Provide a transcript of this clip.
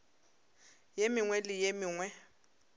ye mengwe le ye mengwe